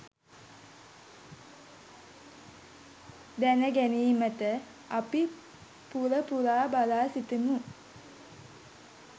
දැනගැනීමට අපි පුල පුලා බලා සිටිමු.